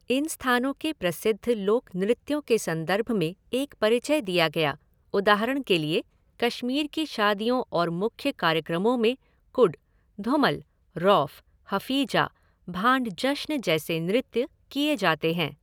इन स्थानों के प्रसिद्ध लोक नृत्यों के संदर्भ में एक परिचय दिया गया, उदाहरण के लिए कश्मीर की शादियों और मुख्य कार्यक्रमों में कुड, धुमल, रौफ, हफ़ीजा, भांड जश्न जैसे नृत्य किए जाते हैं।